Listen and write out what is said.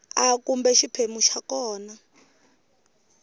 a kumbe xiphemu xa kona